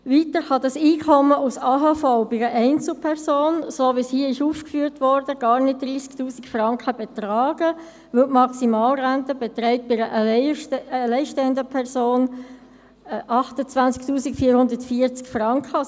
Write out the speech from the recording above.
Des Weiteren kann das Einkommen aus der AHV bei einer Einzelperson, so wie das hier aufgeführt wurde, gar nicht 30 000 Franken betragen, weil die Maximalrente für eine alleinstehende Person 28 440 Franken beträgt.